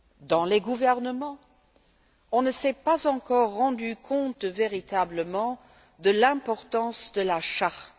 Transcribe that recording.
dans les gouvernements, on ne s'est pas encore rendu compte véritablement de l'importance de la Charte.